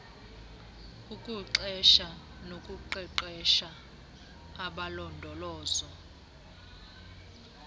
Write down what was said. ukuqesha nokuqeqesha abalondolozo